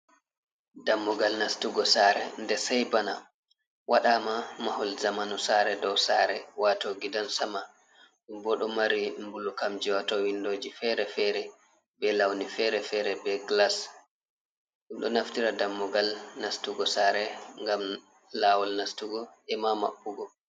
Dammugal nastugo saare nde say bana, waɗaama mahol jamanu saare dow saare waato gidansama boo ɗo mari mbulukamji waato winndoji feere-feere bee lawni feere-feere bee gilas, ɗo naftira dammugal nastugo saare ngam laawol nastugo e maa maɓɓugo.